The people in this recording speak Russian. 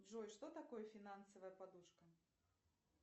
джой что такое финансовая подушка